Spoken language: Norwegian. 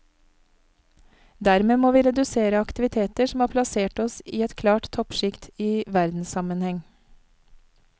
Dermed må vi redusere aktiviteter som har plassert oss i et klart toppsjikt i verdenssammenheng.